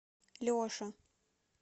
леша